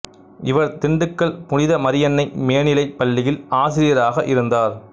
இவர் திண்டுக்கல் புனித மரியன்னை மேனிலைப் பள்ளியில் ஆசிரியராக இருந்தார்